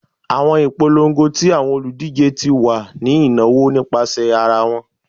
Awọn ipolongo ti awọn oludije ti wa ni inawo nipasẹ ara wọn